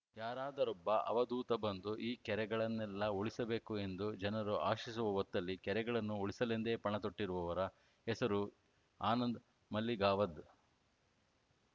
ಯಾರಾದರೊಬ್ಬ ಅವಧೂತ ಬಂದು ಈ ಕೆರೆಗಳನ್ನೆಲ್ಲಾ ಉಳಿಸಬೇಕು ಎಂದು ಜನರು ಆಶಿಸುವ ಹೊತ್ತಲ್ಲಿ ಕೆರೆಗಳನ್ನು ಉಳಿಸಲೆಂದೇ ಪಣತೊಟ್ಟಿರುವವರ ಹೆಸರು ಆನಂದ್‌ ಮಲ್ಲಿಗಾವದ್‌